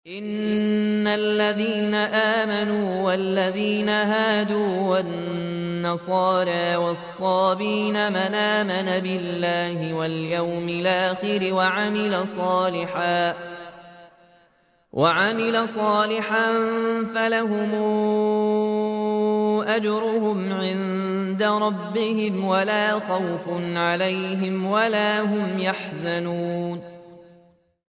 إِنَّ الَّذِينَ آمَنُوا وَالَّذِينَ هَادُوا وَالنَّصَارَىٰ وَالصَّابِئِينَ مَنْ آمَنَ بِاللَّهِ وَالْيَوْمِ الْآخِرِ وَعَمِلَ صَالِحًا فَلَهُمْ أَجْرُهُمْ عِندَ رَبِّهِمْ وَلَا خَوْفٌ عَلَيْهِمْ وَلَا هُمْ يَحْزَنُونَ